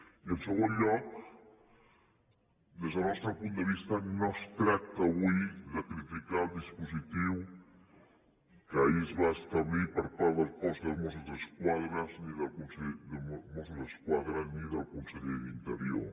i en segon lloc des del nostre punt de vista no es tracta avui de criticar el dispositiu que ahir es va establir per part del cos de mossos d’esquadra ni del conseller d’interior